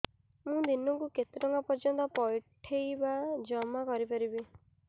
ମୁ ଦିନକୁ କେତେ ଟଙ୍କା ପର୍ଯ୍ୟନ୍ତ ପଠେଇ ବା ଜମା କରି ପାରିବି